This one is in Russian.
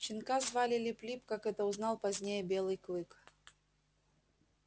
щенка звали лип лип как это узнал позднее белый клык